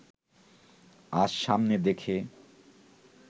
আজ সামনে দেখে